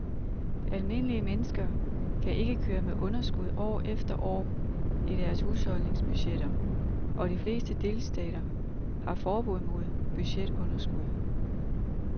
Almindelige mennesker kan ikke køre med underskud år efter år i deres husholdningsbudgetter, og de fleste delstater har forbud mod budgetunderskud.